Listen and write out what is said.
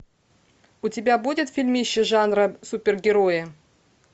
у тебя будет фильмище жанра супергерои